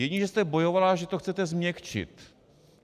Jedině že jste bojovala, že to chcete změkčit.